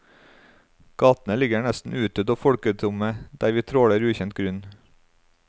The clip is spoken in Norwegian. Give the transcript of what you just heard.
Gatene ligger nesten utdødde og folketomme der vi tråler ukjent grunn.